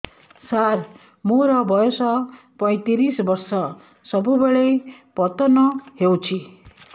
ସାର ମୋର ବୟସ ପୈତିରିଶ ବର୍ଷ ସବୁବେଳେ ପତନ ହେଉଛି